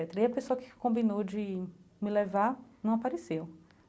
E a pessoa que combinou de me levar não apareceu.